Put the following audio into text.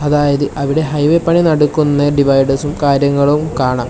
അതായത് അവിടെ ഹൈവേ പണി നടക്കുന്ന ഡിവൈഡേർസും കാര്യങ്ങളും കാണാം.